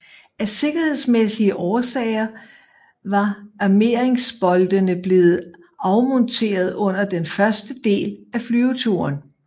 Af sikkerhedsmæssige årsager var armeringsboltene blevet afmonteret under den første del af flyveturen